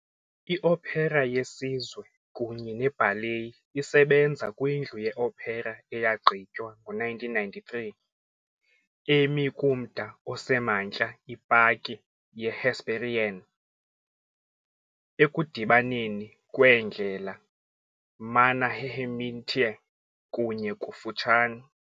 IOpera yeSizwe kunye neBallet isebenza kwindlu yeopera eyagqitywa ngo-1993, emi kumda osemantla ipaki yeHesperian, ekudibaneni kweendlela Mannerheimintie kunye ] kufutshane ].